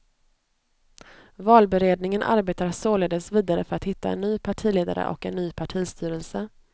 Valberedningen arbetar således vidare för att hitta en ny partiledare och en ny partistyrelse.